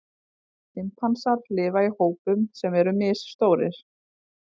Simpansar lifa í hópum sem eru misstórir.